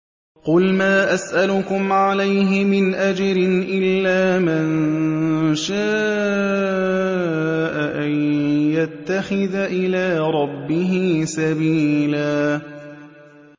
قُلْ مَا أَسْأَلُكُمْ عَلَيْهِ مِنْ أَجْرٍ إِلَّا مَن شَاءَ أَن يَتَّخِذَ إِلَىٰ رَبِّهِ سَبِيلًا